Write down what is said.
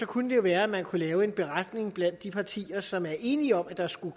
kunne det jo være at man kunne lave en beretning blandt de partier som er enige om at der skal